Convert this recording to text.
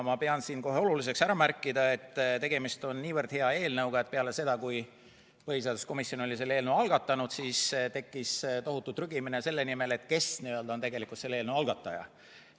Ma pean oluliseks kohe ära märkida, et tegemist on niivõrd hea eelnõuga, et peale seda, kui põhiseaduskomisjon oli selle eelnõu algatanud, tekkis tohutu trügimine selle nimel, et kes on tegelikult selle eelnõu algataja.